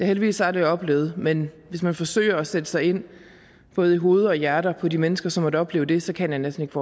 heldigvis aldrig oplevet men hvis man forsøger at sætte sig ind i både hoveder og hjerter på de mennesker som har måttet opleve det så kan jeg næsten